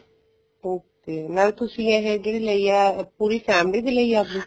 okay ਨਾਲੇ ਤੁਸੀਂ ਆਹ ਜਿਹੜੀ ਲਈ ਹੈ ਪੂਰੀ family ਦੀ ਲਈ ਹੈ ਆਪਣੀ